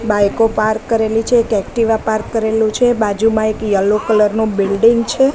બાઈકો પાર્ક કરેલી છે એક એક્ટિવા પાર્ક કરેલુ છે બાજુમાં એક યેલો કલર નુ બિલ્ડીંગ છે.